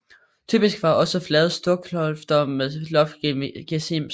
Typisk var også flade stuklofter med loftgesims